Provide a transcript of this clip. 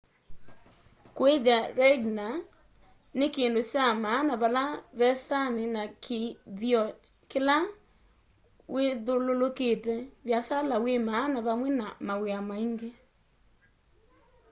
kuithya reindeer ni kindu kya maana vala ve sami na kithio kila withululukite viasala wi maana vamwe na mawia angi